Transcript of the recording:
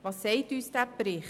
Was sagt uns dieser Bericht?